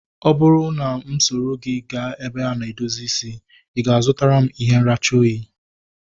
Ọ bụrụ na mụ soro gị gaa ebe a na-edozi isi, i ga-azutara m ihe nracha oyi?